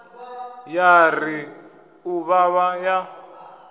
ya ri u vhavha ya